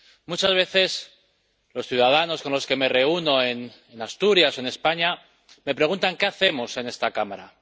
Muchas veces los ciudadanos con los que me reúno en Asturias, en España, me preguntan qué hacemos en esta Cámara.